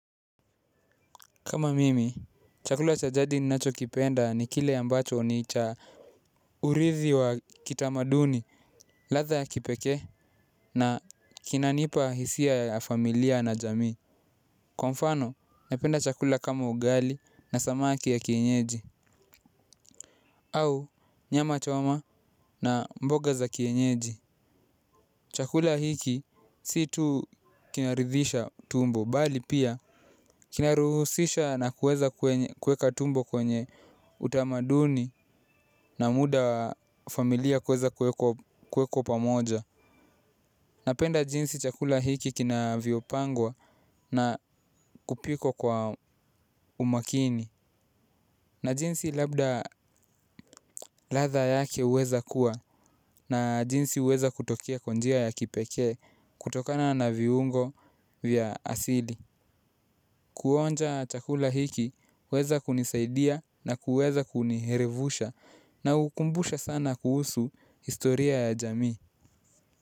Kama mimi chakula cha jadi ambacho ninakipenda ni kile ambacho ni cha uridhi wa kitamaduni ladha ya kipekee na kinanipa hisia ya familia na jamii kwa mfano, napenda chakula kama ugali na samaki ya kienyeji au, nyama choma na mboga za kienyeji chakula hiki, si tu kinaridhisha tumbo, bali pia kina ruhusisha na kuweza kweka tumbo kwenye utamaduni na muda familia kuweza kuweko pamoja napenda jinsi chakula hiki kinavyopangwa na kupikwa kwa umakini na jinsi labda ladha yake huweza kuwa na jinsi huweza kutokea kwa njia ya kipekee kutokana na viungo vya asili kuonja chakula hiki huweza kunisaidia na kuweza kunielevusha na hukumbusha sana kuhusu historia ya jamii.